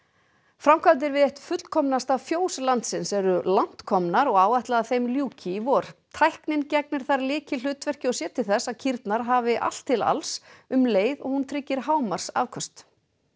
framkvæmdir við eitt fullkomnasta fjós landsins eru langt komnar og áætlað að þeim ljúki í vor tæknin gegnir þar lykilhlutverki og sér til þess að kýrnar hafi allt til alls um leið og hún tryggir hámarksafköst